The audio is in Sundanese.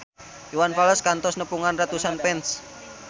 Iwan Fals kantos nepungan ratusan fans